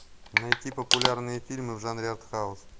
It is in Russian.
найти популярные фильмы в жанре артхаус